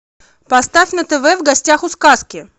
поставь на тв в гостях у сказки